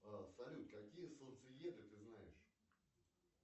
салют какие солнцееды ты знаешь